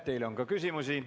Teile on ka küsimusi.